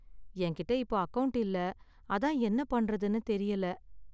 என்கிட்ட இப்போ அக்கவுண்ட் இல்ல, அதான் என்ன பண்றதுனு தெரியல.